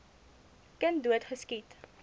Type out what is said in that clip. kind dood geskiet